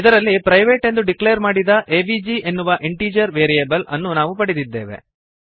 ಇದರಲ್ಲಿ ಪ್ರೈವೇಟ್ ಎಂದು ಡಿಕ್ಲೇರ್ ಮಾಡಿದ ಎವಿಜಿ ಎನ್ನುವ ಇಂಟೀಜರ್ ವೇರಿಯಬಲ್ ಅನ್ನು ನಾವು ಪಡೆದಿದ್ದೇವೆ